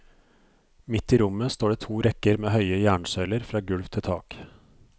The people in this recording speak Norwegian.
Midt i rommet står det to rekker med høye jernsøyler fra gulv til tak.